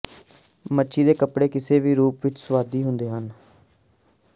ਮੱਛੀ ਦੇ ਕੱਪੜੇ ਕਿਸੇ ਵੀ ਰੂਪ ਵਿਚ ਸੁਆਦੀ ਹੁੰਦੇ ਹਨ